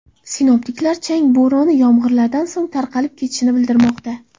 Sinoptiklar chang bo‘roni yomg‘irlardan so‘ng tarqalib ketishini bildirmoqda.